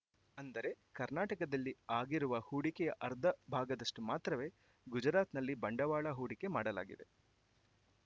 ಅಂದರೆ ಕರ್ನಾಟಕದಲ್ಲಿ ಆಗಿರುವ ಹೂಡಿಕೆಯ ಅರ್ಧ ಭಾಗದಷ್ಟುಮಾತ್ರವೇ ಗುಜರಾತ್‌ನಲ್ಲಿ ಬಂಡವಾಳ ಹೂಡಿಕೆ ಮಾಡಲಾಗಿದೆ